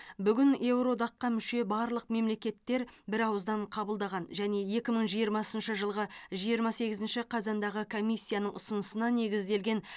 бүгін еуроодаққа мүше барлық мемлекеттер бірауыздан қабылдаған және екі мың жиырмасыншы жылғы жиырма сегізінші қазандағы комиссияның ұсынысына негізделген